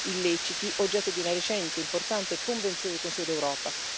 illeciti, oggetto di una recente e importante convenzione del Consiglio d'Europa.